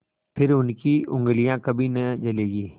फिर उनकी उँगलियाँ कभी न जलेंगी